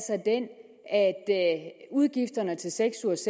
udgifterne til seks ugers